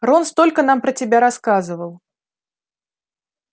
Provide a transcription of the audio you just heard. рон столько нам про тебя рассказывал